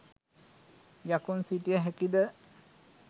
යකුන් සිටිය හැකිද?